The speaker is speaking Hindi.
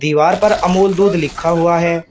दीवार पर अमूल दूध लिखा हुआ है।